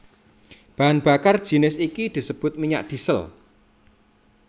Bahan bakar jinis iki disebut minyak diesel